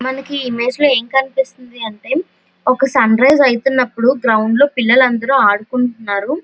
మనకి ఇమేజ్ లో ఏం కనిపిస్తుంది అంటే ఒక సన్రైస్ అవుతున్నప్పుడు గ్రౌండ్ లో పిల్లలందరూ ఆడుకుంటున్నారు.